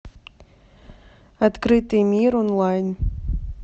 открытый мир онлайн